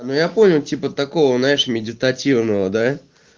ну я понял типа такого знаешь медитативного да